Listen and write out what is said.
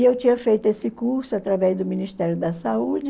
E eu tinha feito esse curso através do Ministério da Saúde,